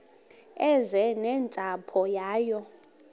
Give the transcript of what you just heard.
eze nentsapho yayo